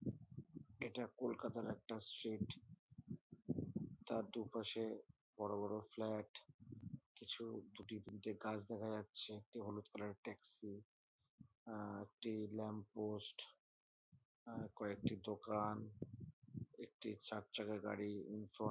এটা কলকাতার একটা স্ট্রিট । তার দুপাশে বড়ো বড়ো ফ্লাট । কিছু দুটি তিনটি গাছ দেখা যাচ্ছে একটি হলুদ কালার -এর ট্যাক্সি আআআ একটি ল্যাম্প পোস্ট আ কয়েকটি দোকানএকটি চার চাকা গাড়ি ইন ফ্রন্ট --